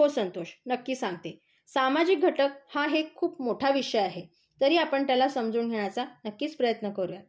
हो संतोष. नक्की सांगते. सामाजिक घटक हा एक खूप मोठा विषय आहे. तरी आपण त्याला समजून घेण्याचा नक्कीच प्रयत्न करूया.